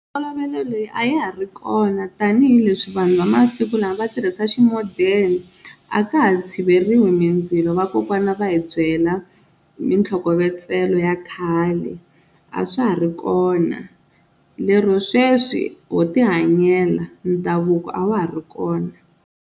Ntolovelo leyi a ya ha ri kona tanihileswi vanhu va masiku lama va tirhisa xi modern, a ka ha tshiveriwi mindzilo vakokwana va hi byela mintlhokovetselo ya khale a swa ha ri kona lero sweswi ho ti hanyela ndhavuko a wa ha ri kona.